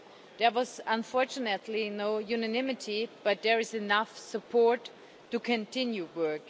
There was, unfortunately, no unanimity, but there is enough support to continue work.